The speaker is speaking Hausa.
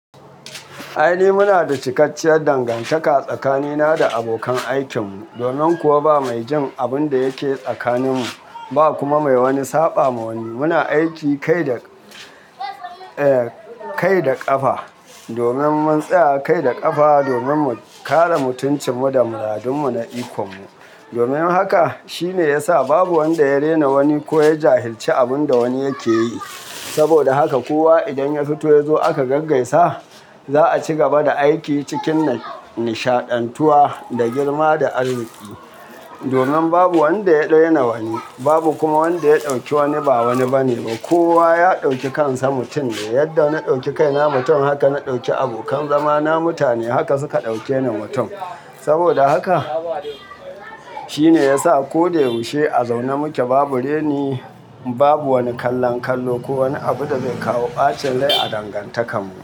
Ai ni muna da cikakkiyar dangantaka tsakanina da abokan aikin mu, domin kuwa ba mai jin abun da yake tsakanin mu, ba kuma mai wani saɓa ma wani. Muna aiki kai da, eh, kai da ƙafa domin mun tsaya kai da ƙafa domin mu kare mutunci mu da mu radummu na ikhon mu. Domin haka shine ya sa babu wanda ya rena wani ko ya jahilci abin da wani yake yi. Saboda haka kowa idan ya fito ya zo aka gaggaisa, za a ci gaba da aiki cikin nishaɗantuwa da girma da arziki. Domin babu wanda ya raina wani, babu kuma wanda ya ɗauki wani ba wani bane. Kowa ya ɗauki kansa mutum ne. Yadda na ɗauki kaina mutum haka na ɗauki abokan zama na mutane haka suka ɗauke ni mutum. Saboda haka shine ya sa ko da ya yaushe a zaune muke babu reni, babu wani kallan kallo ko wani abu da zai kawo ɓacin rai a dangantakar mu.